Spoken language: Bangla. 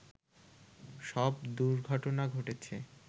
সব দুর্ঘটনা ঘটেছে